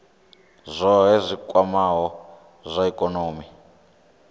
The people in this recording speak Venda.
zwohe zwi kwamaho zwa ikonomi